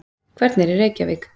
Hvernig er Reykjavík?